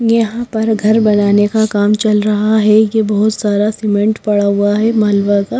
यहाँ पर घर बनाने का काम चल रहा है ये बहुत सारा सीमेंट पड़ा हुआ है मालवा का--